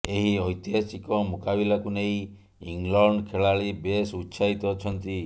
ଏହି ଐତିହାସିକ ମୁକାବିଲାକୁ ନେଇ ଇଂଲଣ୍ଡ ଖେଳାଳି ବେଶ ଉତ୍ସାହିତ ଅଛନ୍ତି